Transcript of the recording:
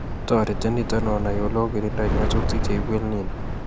Toreti nito onai oleokirindoi nyasutik cheibu EL Nino